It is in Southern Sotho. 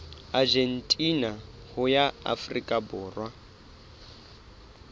argentina ho ya afrika borwa